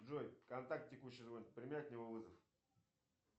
джой контакт текущий звонит прими от него вызов